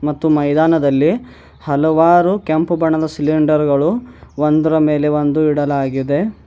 ಮತ್ತು ಮೈದಾನದಲ್ಲಿ ಹಲವಾರು ಕೆಂಪು ಬಣ್ಣದ ಸಿಲಿಂಡರ್ ಗಳು ಒಂದರ ಮೇಲೆ ಒಂದು ಇಡಲಾಗಿದೆ.